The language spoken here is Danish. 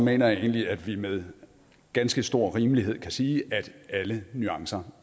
jeg egentlig at vi med ganske stor rimelighed kan sige at alle nuancer